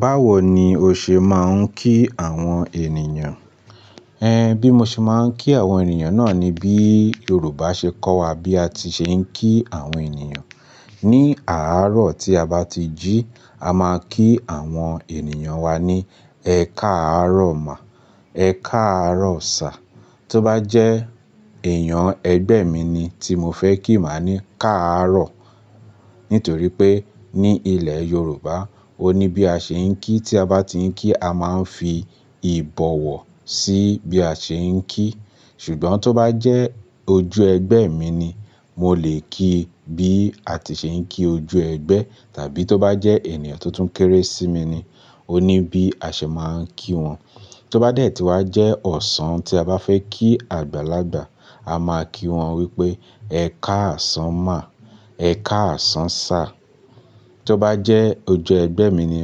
Báwo ni o ṣe máa ń kí àwọn ènìyàn? Ẹn, bí mo ṣe máa ń kí àwọn ènìyàn náà ni bí Yorùbá ṣe kọ́ wa bí a ti ṣe ń kí àwọn ènìyàn. Ni àárọ̀ tí a bá ti jí, a máa kí àwọn ènìyàn wa ní, "Ẹ káàárọ̀ má, ẹ káàárọ̀ sá." Tó bá jẹ́ èèyàn ẹgbẹ́ mi ni tí mo fẹ́ kí, màá ní, "Káàárọ̀." Nítorí pé ní ilẹ̀ Yorùbá, ó ní bí a ṣe ń kí. Tí a bá ti ń kí, a máa ń fi ìbọ̀wọ̀ sí bí a ṣe ń kí. Ṣùgbọ́n tó bá jẹ́ ojú ẹgbẹ́ mi ni, mo lè kí bí a ti ṣe ń kí ojú ẹgbẹ́. Tàbí tó bá jẹ́ ènìyàn tó tún kéré sí mi ni, ó ní bí a ṣe máa ń kí wọn. Tí ó bá dé tí wá jẹ́ ọ̀sán tí a bá fẹ́ kí àgbàlagbà, a máa kí wọn wípé, "Ẹ káàsán má, ẹ káàsán sá." Tí ó bá jẹ́ ojú ẹgbẹ́ mi ni,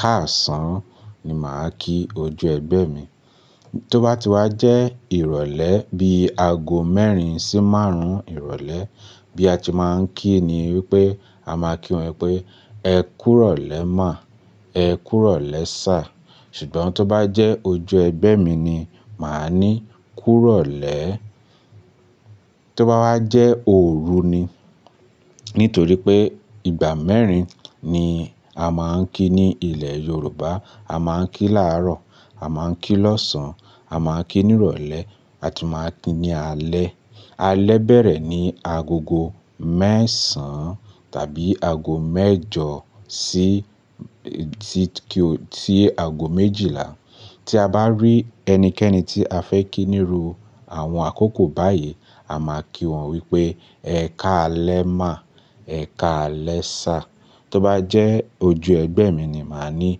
"Káàsán" ni màá kí ojú ẹgbẹ́ mi. Tí ó bá ti wá jẹ́ ìrọ̀lẹ́ bí aago mẹ́rin sí márùn-ún ìrọ̀lẹ́, bí a ti máa ń kí ni wípé, a máa kí wọn pé, "Ẹ kúrọ̀lẹ́ má, ẹ kúrọ̀lẹ́ sá." Ṣùgbọ́n tó bá jẹ́ ojú ẹgbẹ́ mi ni, màá ní, "Kúrọ̀lẹ́." Tí ó bá wá jẹ́ ooru ni, nítorí pé ìgbà mẹ́rin ni a máa ń kí ní ilẹ̀ Yorùbá. A máa ń kí làárọ̀, a máa ń kí lọ́sàn, a máa ń kí ní ìrọ̀lẹ́, a tun máa ń kí ní alẹ́. Alẹ́ bẹ̀rẹ̀ ní agogo mẹ́sàn-án tàbí ago mẹ́jọ sí ti kí ó, tí ago méjìlá. Tí a bá rí ẹnikẹ́ni tí a fẹ́ kí níru àwọn àkókò báyìí, a máa kí wọn wípé, "Ẹ káalẹ́ má, ẹ káalẹ́ sá." Tí ó bá jẹ́ ojú ẹgbẹ́ mi ni, màá ní,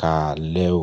"Káalẹ́ o."